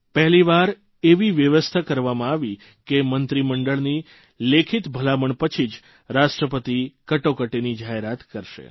પહેલીવાર એવી વ્યવસ્થા કરવામાં આવી કે મંત્રીમંડળની લેખિત ભલામણ પછી જ રાષ્ટ્રપતિ કટોકટીની જાહેરાત કરશે